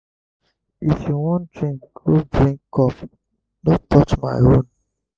if you wan drink go brink cup no touch my own.